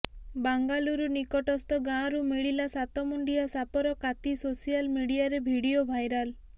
ବାଙ୍ଗାଲୁରୁ ନିକଟସ୍ଥ ଗାଁରୁ ମିଳିଲା ସାତମୁଣ୍ଡିଆ ସାପର କାତି ସୋସିଆଲ ମିଡିଆରେ ଭିଡିଓ ଭାଇରାଲ